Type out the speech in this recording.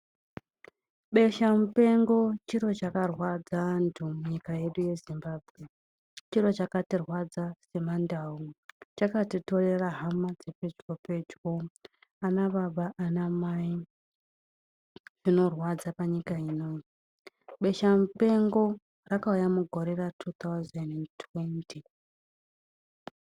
Besha mupengo chiro chakarwadza antu munyika yedu yeZimbabwe. Chiro chakatirwadza semaNdau. Chakatitorera hama dzepedyo pedyo, anababa, anamai, zvinorwadza panyika ino. Besha mupengo rakauya mugore ra2020.